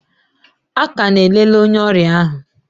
A ka na-elele onye ọrịa ahụ.